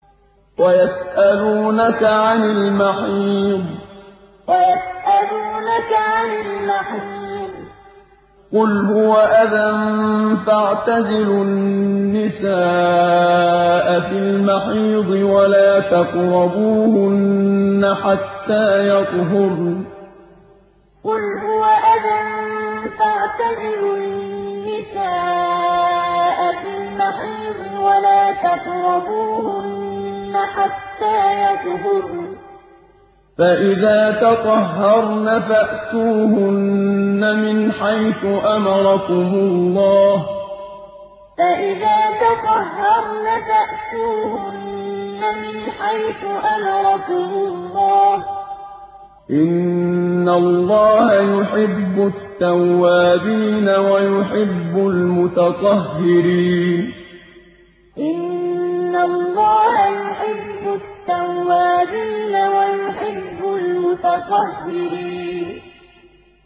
وَيَسْأَلُونَكَ عَنِ الْمَحِيضِ ۖ قُلْ هُوَ أَذًى فَاعْتَزِلُوا النِّسَاءَ فِي الْمَحِيضِ ۖ وَلَا تَقْرَبُوهُنَّ حَتَّىٰ يَطْهُرْنَ ۖ فَإِذَا تَطَهَّرْنَ فَأْتُوهُنَّ مِنْ حَيْثُ أَمَرَكُمُ اللَّهُ ۚ إِنَّ اللَّهَ يُحِبُّ التَّوَّابِينَ وَيُحِبُّ الْمُتَطَهِّرِينَ وَيَسْأَلُونَكَ عَنِ الْمَحِيضِ ۖ قُلْ هُوَ أَذًى فَاعْتَزِلُوا النِّسَاءَ فِي الْمَحِيضِ ۖ وَلَا تَقْرَبُوهُنَّ حَتَّىٰ يَطْهُرْنَ ۖ فَإِذَا تَطَهَّرْنَ فَأْتُوهُنَّ مِنْ حَيْثُ أَمَرَكُمُ اللَّهُ ۚ إِنَّ اللَّهَ يُحِبُّ التَّوَّابِينَ وَيُحِبُّ الْمُتَطَهِّرِينَ